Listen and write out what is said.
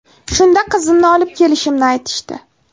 Shunda qizimni olib kelishimni aytishdi.